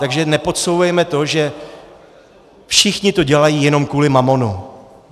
Takže nepodsouvejme to, že všichni to dělají jenom kvůli mamonu.